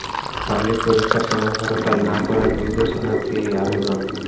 public পরীক্ষার সময় হরতাল না করার নির্দেশনা চেয়ে আবেদন